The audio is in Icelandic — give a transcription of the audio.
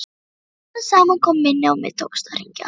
Smám saman kom minnið og mér tókst að hringja.